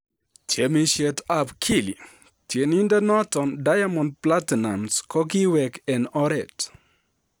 Tiemisiet ab Kili: Tienindet noton Diamond Platnumz kokiwek en oret.